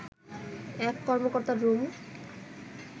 এক কর্মকর্তার রুম